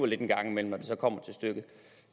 lidt en gang imellem når det kommer til stykket